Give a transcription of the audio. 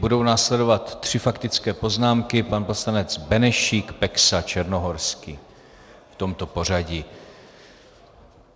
Budou následovat tři faktické poznámky - pan poslanec Benešík, Peksa, Černohorský, v tomto pořadí.